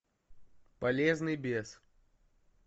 полезный бес